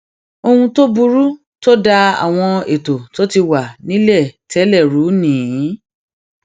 ohun tó burú tó da àwọn ètò tó ti wà nílẹ tẹlẹ rú ni